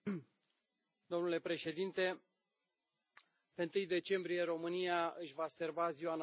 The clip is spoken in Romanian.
Domnule președinte, la 1 decembrie România își va serba ziua națională.